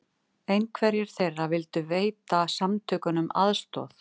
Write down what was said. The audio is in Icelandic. Einhverjir þeirra vildu veita samtökunum aðstoð